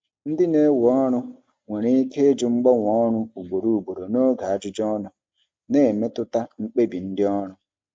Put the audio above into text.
Ndị na-ewe ọrụ nwere ike ịjụ mgbanwe ọrụ ugboro ugboro n'oge ajụjụ ọnụ, na-emetụta mkpebi ndị ọrụ.